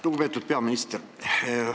Lugupeetud peaminister!